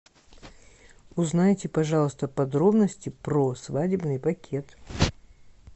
узнайте пожалуйста подробности про свадебный пакет